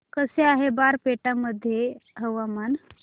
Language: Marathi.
कसे आहे बारपेटा मध्ये हवामान